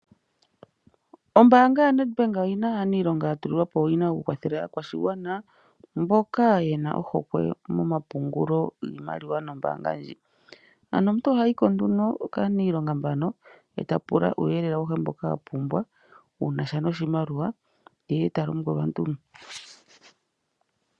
Ombanga yaNEDBANK oyina aanilonga yatulilwapo owina okukwathela aakwashigwana mboka yena ohokwe momapungulo nge nasha nombanga ndjika. Ano omuntu ohayi ko kaanilonga mbano etapula uuyelele mboka apumbwa wuna sha noshimaliwa.